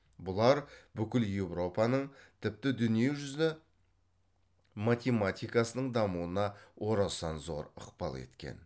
бұлар бүкіл еуропаның тіпті дүние жүзі математикасының дамуына орасан зор ықпал еткен